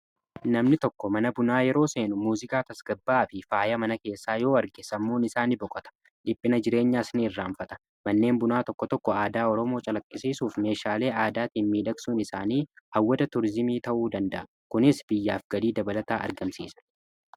Namni tokko mana bunaa yeroo seenu muuziqaa tasgabbaa fi faaya mana keessaa yoo arge sammuun isaa nni boqata dhiphina jireenyaasaa ni irraanfata . Manneen bunaa tokko tokko aadaa Oromoo calaqqisiisuuf meeshaalee aadaatiiin miidhagsuun isaanii hawwata turizimii ta'uu danda'a. Kunis biyyaaf galii dabalataa argamsiisa.